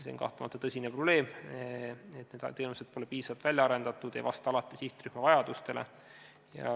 See on kahtlemata tõsine probleem, et need teenused pole piisavalt välja arendatud ega vasta alati sihtrühma vajadustele.